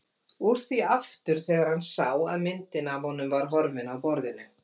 Úr því aftur þegar hann sá að myndin af honum var horfin af borðinu.